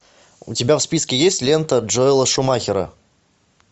у тебя в списке есть лента джоэла шумахера